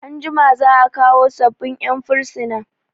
Anjima za'a kawo sabbin 'yan firsina.